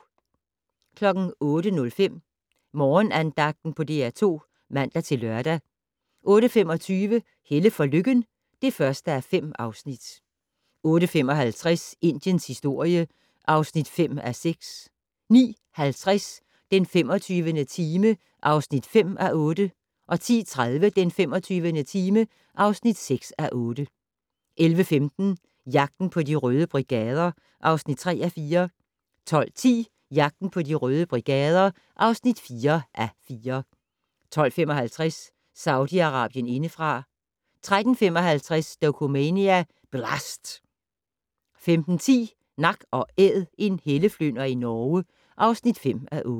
08:05: Morgenandagten på DR2 (man-lør) 08:25: Helle for Lykken (1:5) 08:55: Indiens historie (5:6) 09:50: Den 25. time (5:8) 10:30: Den 25. time (6:8) 11:15: Jagten på De Røde Brigader (3:4) 12:10: Jagten på De Røde Brigader (4:4) 12:55: Saudi-Arabien indefra 13:55: Dokumania: Blast! 15:10: Nak & Æd - en helleflynder i Norge (5:8)